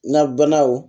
Na banaw